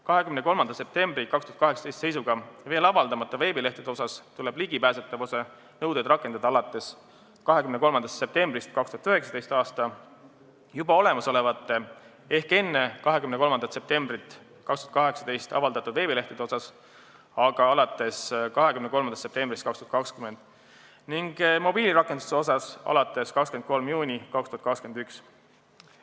23. septembri 2018. aasta seisuga veel avaldamata veebilehtede suhtes tuleb ligipääsetavuse nõudeid rakendada alates 23. septembrist 2019, juba olemasolevate ehk enne 23. septembrit 2018 avaldatud veebilehtede suhtes aga alates 23. septembrist 2020 ning mobiilirakenduste suhtes alates 23. juunist 2021.